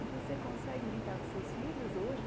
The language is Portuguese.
E você consegue brincar com seus filhos hoje?